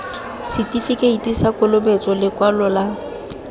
setifikeiti sa kolobetso lekwalo la